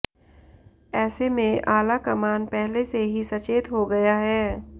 ऐसे में आलाकमान पहले से ही सचेत हो गया है